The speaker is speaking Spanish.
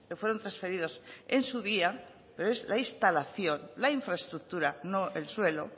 fueron transferidos en su día pero es la instalación la infraestructura no el suelo